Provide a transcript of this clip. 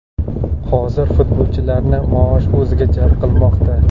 Hozir futbolchilarni maosh o‘ziga jalb qilmoqda.